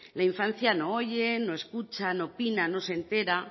la infancia no oye no escucha no opina no se entera